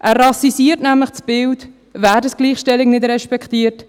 Er rassisiert nämlich das Bild, wer die Gleichstellung nicht respektiert.